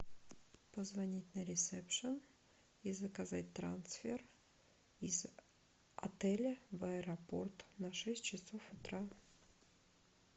позвонить на ресепшн и заказать трансфер из отеля в аэропорт на шесть часов утра